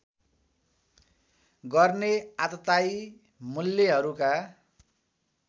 गर्ने आततायी मूल्यहरूका